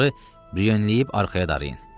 Onları briyönləyib arxaya darayın.